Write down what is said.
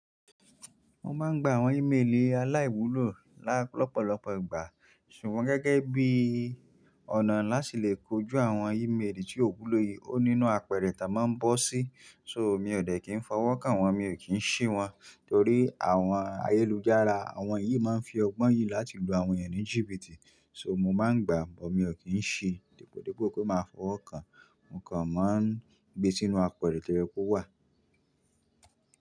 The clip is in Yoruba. Mo máa ń gba àwọn ímélì aláìwúlò lọ́pọ̀lọpọ̀ ìgbà, ṣùgbọ́n gẹ́gẹ́ bí ọ̀nà láti lè kojú àwọn ímélì tí ò wúlò yìí, ó nínú àpẹrẹ táa máa ń bọ́ sí, so mi ò dẹ̀ kí n fọwọ́ kàn wọ́n, mi ò kí ń ṣí wọ́n torí àwọn ayélujára, àwọn yìí máa ń fi ọgbọ́n yìí láti lu àwọn ẹeyan ni jìbìtì, so mo máa ń gbà, mo kì ń ṣí, dípòdípò pé mo máa fọwọ́ kàn, mo kàn máa ń gbé e sínú àpẹrẹ tí o ye ko wà.